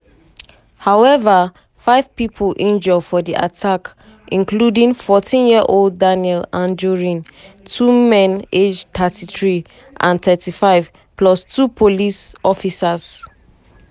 however five pipo injure for di attack including 14-year-old daniel anjorin two men aged 33 and 35 plus two police police officers.